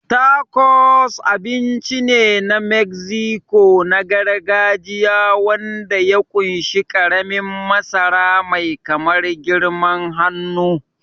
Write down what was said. Tacos abinci ne na Mexico na gargajiya wanda ya ƙunshi ƙaramin masara mai kamar girman hannu.